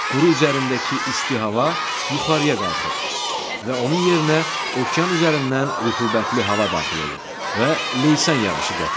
Quru üzərindəki isti hava yuxarıya qalxır və onun yerinə okean üzərindən rütubətli hava daxil olur və leysan yağışı gətirir.